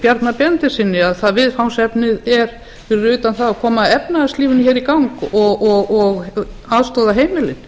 bjarna benediktssyni að viðfangsefnið er fyrir utan það að koma efnahagslífinu hér í gang og aðstoða heimilin